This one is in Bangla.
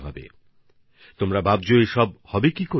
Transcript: আপনারা হয়তো ভাবছেন এসব হবে কেমন করে